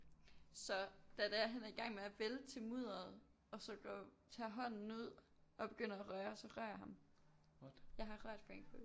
Så da det er han er i gang med at vælte i mudderet og så gå tage hånden ud og begynder at røre så rører jeg ham jeg har rørt Frank Ocean